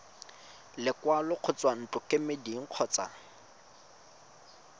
lekwalo go tswa ntlokemeding kgotsa